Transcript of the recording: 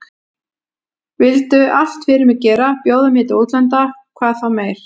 Vildu allt fyrir mig gera, bjóða mér til útlanda hvað þá meir.